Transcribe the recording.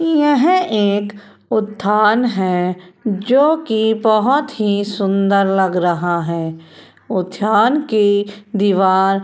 यह एक उद्यान है जोकि बहोत ही सुंदर लग रहा है। उद्यान की दीवार --